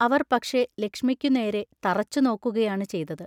അവർ പക്ഷെ ലക്ഷ്മിമിക്കുനേരെ തറച്ചുനോക്കുകയാണ് ചെയ്തത്.